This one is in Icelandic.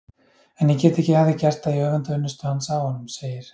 En ég get ekki að því gert að ég öfunda unnustu hans af honum, segir